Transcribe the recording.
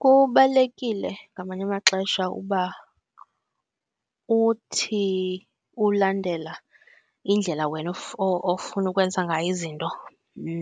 Kubalulekile ngamanye amaxesha uba uthi ulandela indlela wena ofuna ukwenza ngayo izinto